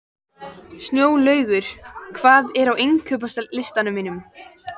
Snjólaugur, hvað er á innkaupalistanum mínum?